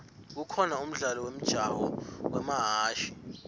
kukhona umdlalo wemjaho wamahashi